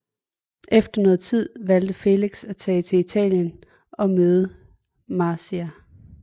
Efter noget tid valgte Felix at tage til Italien og møde Marzia